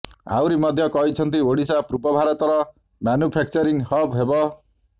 ଆହୁରି ମଧ୍ୟ କହିଛନ୍ତି ଓଡିଶା ପୂର୍ବ ଭାରତର ମାନୁଫ୍ୟାକଚରିଙ୍ଗ ହବ୍ ହେବ